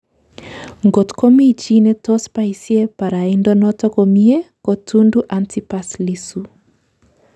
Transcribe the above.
Ngot ko mi chi netos baisye baraindo noto komyee ko Tundu Antipas Lissu